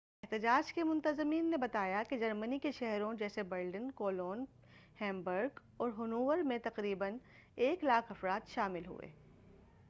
احتجاج کے منتظمین نے بتایا کہ جرمنی کے شہروں جیسے برلن کولون ہیمبرگ اور ہنوور میں تقریبا 100,000 افراد شامل ہوئے